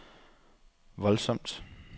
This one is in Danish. voldsomt